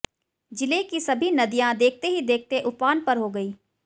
जिले की सभी नदियां देखते ही देखते उफान पर हो गई